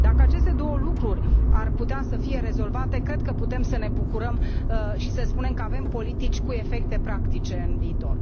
Dacă aceste două lucruri ar putea fi rezolvate, cred că putem să ne bucurăm și să spunem că avem politici cu efecte practice în viitor.